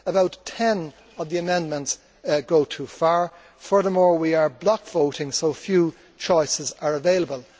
About ten of the amendments go too far. Furthermore, we are block voting, so few choices are available.